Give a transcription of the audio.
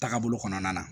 Taabolo kɔnɔna na